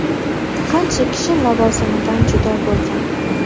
Qancha kishi lavozimidan judo bo‘lgan.